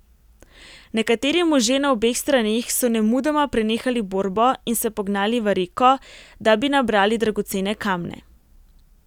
Nekateri možje na obeh straneh so nemudoma prenehali borbo in se pognali v reko, da bi nabrali dragocene kamne.